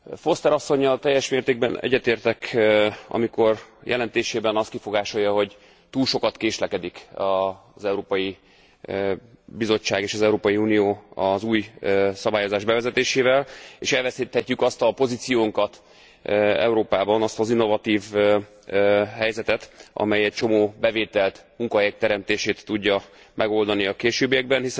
Foster asszonnyal teljes mértékben egyetértek, amikor jelentésében azt kifogásolja, hogy túl sokat késlekedik az Európai Bizottság és az Európai Unió az új szabályozás bevezetésével, és elveszíthetjük azt a pozíciónkat Európában, azt az innovatív helyzetet, amely egy csomó bevételt, munkahelyek teremtését tudja megoldani a későbbiekben.